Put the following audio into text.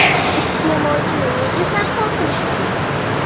Iste’molchini nega sarson qilish lozim?